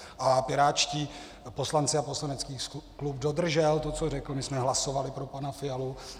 A pirátští poslanci a poslanecký klub dodržel to, co řekl, my jsme hlasovali pro pana Fialu.